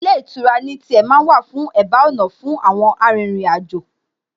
Ilé ìtura ní tiẹ̀ ma ń wà ní ẹ̀bá ọ̀nà fún àwọn arìnrìn-àjò